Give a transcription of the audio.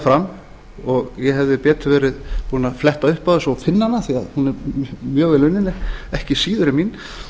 fram og ég hefði betur verið búinn að fletta upp á og finna hana því hún er mjög vel unnin ekki síður en mín